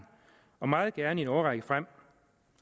og meget gerne i en årrække frem